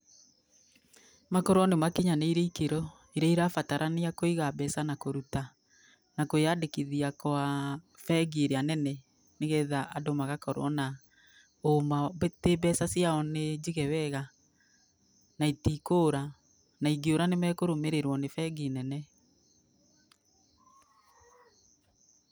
Makorwo nĩ makinyanĩire ikĩro irĩa irabatarania kũiga mbeca na kũruta, na na kwĩandĩkithia kwa, bengi irĩa nene nĩgetha andũ magakorũo na ũ ma tĩ mbeca ciao nĩ njige wega, na itikũra, na ingĩũra nĩmekũrũmĩrĩrwo nĩ bengi nene.